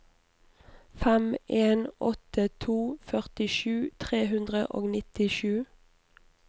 fem en åtte to førtisju tre hundre og nittisju